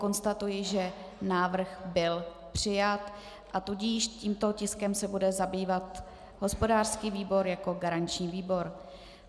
Konstatuji, že návrh byl přijat, a tudíž tímto tiskem se bude zabývat hospodářský výbor jako garanční výbor.